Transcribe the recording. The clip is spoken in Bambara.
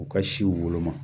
U ka siw woloma